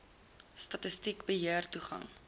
statistiek beter toegang